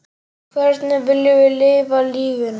Hvernig viljum við lifa lífinu?